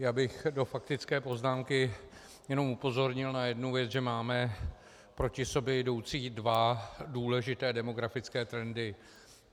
Já bych ve faktické poznámce jenom upozornil na jednu věc, že máme proti sobě jdoucí dva důležité demografické trendy.